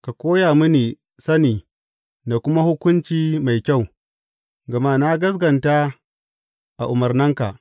Ka koya mini sani da kuma hukunci mai kyau, gama na gaskata a umarnanka.